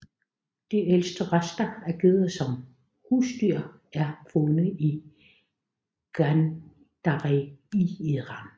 De ældste rester af geder som husdyr er fundet i Ganj Dareh i Iran